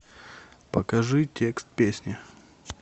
покажи текст песни